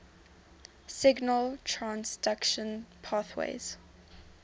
signal transduction pathways